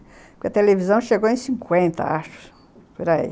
Porque a televisão chegou em cinquenta, acho, por aí.